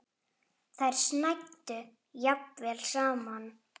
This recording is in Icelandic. Þannig hafði það verið lengi.